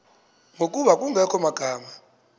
ngokuba kungekho magama